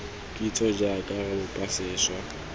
kitso jaaka re bopa sešwa